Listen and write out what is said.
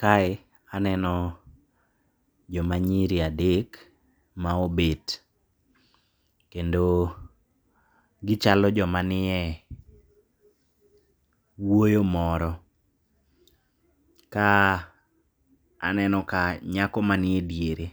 Kae aneno jomanyiri adek maobet, kendo gichalo jomanie wuoyo moro. Ka aneno ka nyako manie diere